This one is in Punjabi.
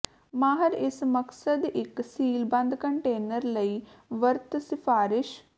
ਮਾਹਰ ਇਸ ਮਕਸਦ ਇੱਕ ਸੀਲਬੰਦ ਕੰਟੇਨਰ ਲਈ ਵਰਤ ਸਿਫਾਰਸ਼